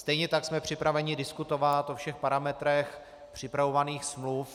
Stejně tak jsme připraveni diskutovat o všech parametrech připravovaných smluv.